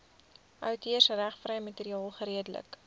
outeursregvrye materiaal geredelik